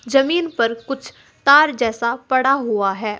जमीन पर कुछ तार जैसा पड़ा हुआ है।